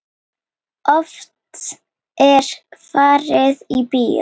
Oft er farið í bíó.